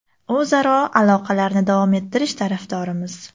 O‘zaro aloqalarni davom ettirish tarafdorimiz.